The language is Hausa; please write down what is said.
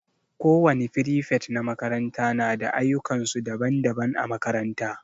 Kowani firifet na makaranta na da ayukan su daban-daban a makaranta.